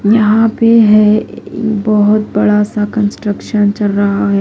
यहां पे है बहुत बड़ा सा कंस्ट्रक्शन चल रहा है।